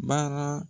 Baara